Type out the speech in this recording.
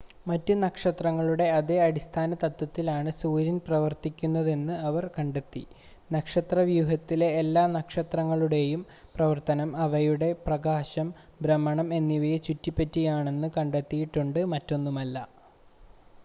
മറ്റ് നക്ഷത്രങ്ങളുടെ അതേ അടിസ്ഥാന തത്ത്വത്തിലാണ് സൂര്യൻ പ്രവർത്തിക്കുന്നതെന്ന് അവർ കണ്ടെത്തി നക്ഷത്രവ്യൂഹത്തിലെ എല്ലാ നക്ഷത്രങ്ങളുടെയും പ്രവർത്തനം അവയുടെ പ്രകാശം ഭ്രമണം എന്നിവയെ ചുറ്റിപ്പറ്റിയാണെന്ന് കണ്ടെത്തിയിട്ടുണ്ട് മറ്റൊന്നുമല്ല